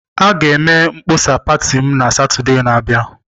A ga-eme mkpọsa pati m na Satọde na-abịa.